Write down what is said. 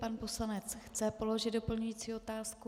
Pan poslanec chce položit doplňující otázku.